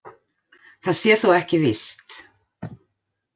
Það sé þó ekki víst